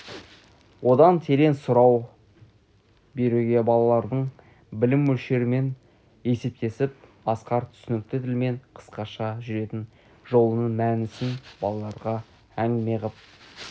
одан терең сұрау беруге балалардың білім мөлшерімен есептесіп асқар түсінікті тілмен қысқаша жүретін жолының мәнісін балаларға әңгіме ғып